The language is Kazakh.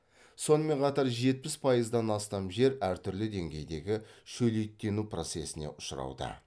сонымен қатар жетпіс пайыздан астам жер әртүрлі деңгейдегі шөлейттену процесіне ұшырауда